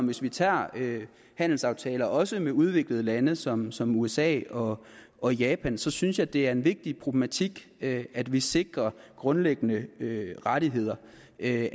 hvis vi tager handelsaftaler også med udviklede lande som som usa og og japan så synes jeg det er en vigtig problematik at at vi sikrer grundlæggende rettigheder at